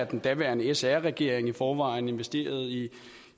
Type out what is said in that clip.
den daværende sr regering i forvejen investerede i